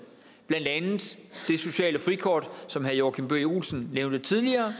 blandt andet det sociale frikort som herre joachim b olsen nævnte tidligere